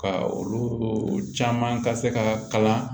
Ka olu caman ka se ka kalan